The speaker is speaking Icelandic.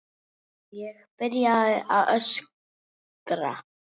Ég byrjaði bara að öskra.